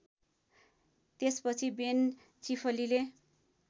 त्यसपछि बेन चिफलीले